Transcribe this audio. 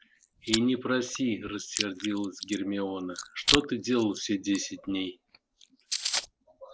и не проси рассердилась гермиона что ты делал все десять дней